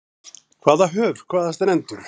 Hvaða höf, hvaða strendur.